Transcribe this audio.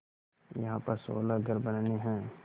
यहाँ पर सोलह घर बनने हैं